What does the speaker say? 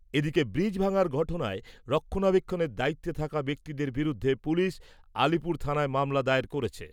এদিকে , ব্রিজ ভাঙার ঘটনায় রক্ষণাবেক্ষণের দায়িত্বে থাকা ব্যক্তিদের বিরুদ্ধে পুলিশ, আলিপুর থানায় মামলা দায়ের করেছে।